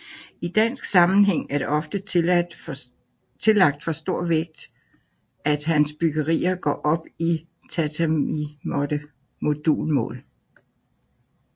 I dansk sammenhæng er det ofte tillagt for stor vægt at hans byggerier går op i tatamimåtte modulmål